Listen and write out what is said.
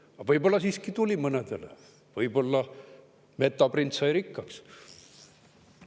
Aga võib-olla siiski mõnele tuli, võib-olla Metaprint sai rikkaks.